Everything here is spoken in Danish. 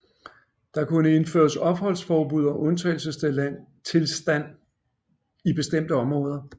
Der kunne indføres opholdsforbud og undtagelsestilstand i bestemte områder